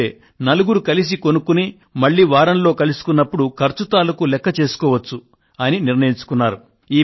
ఎందుకంటే నలుగురు కలిసి కొనుక్కుని మళ్ళీ వారం కలుసుకున్నప్పుడు ఖర్చు తాలూకూ లెక్క చేసుకోవచ్చు అని నిర్ణయించుకొన్నారు